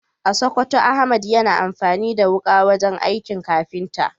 A Sokoto, Ahmad yana amfani da wuka wajen aikin kafinta.